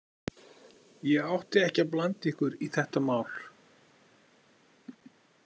Ég átti ekki að blanda ykkur í þetta mál.